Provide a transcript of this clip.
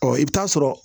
i bɛ taa sɔrɔ